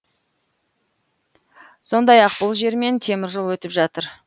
сондай ақ бұл жермен теміржол өтіп жатыр